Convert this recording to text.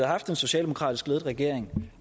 haft en socialdemokratisk ledet regering